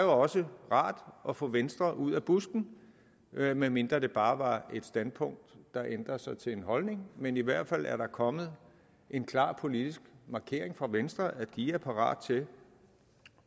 også rart at få venstre ud af busken med mindre det bare var et standpunkt der ændrer sig til en holdning men i hvert fald er der kommet en klar politisk markering fra venstre om at de er parat til